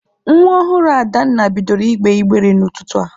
Nwa ọhụrụ Adanna bidoro ịgbe ịgbere n'ụtụtụ a.